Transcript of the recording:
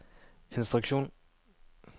instruksjon